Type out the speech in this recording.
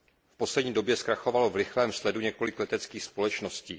V poslední době zkrachovalo v rychlém sledu několik leteckých společností.